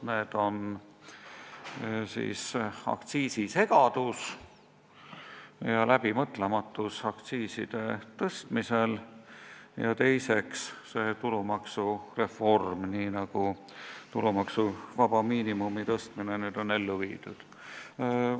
Need on aktsiisisegadus ja läbimõtlematus aktsiiside tõstmisel ja teiseks tulumaksureform nii, nagu tulumaksuvaba miinimumi tõstmine on ellu viidud.